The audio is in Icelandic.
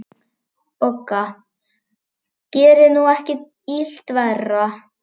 BOGGA: Gerið nú ekki illt verra.